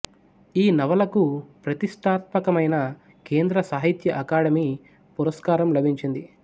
ఈ నవలకు ప్రతిష్ఠాత్మకమైన కేంద్ర సాహిత్య అకాడెమీ పురస్కారం లభించింది